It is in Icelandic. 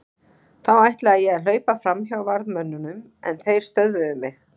Þá ætlaði ég að hlaupa fram hjá varðmönnunum en þeir stöðvuðu mig.